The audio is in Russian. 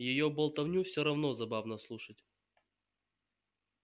её болтовню все равно забавно слушать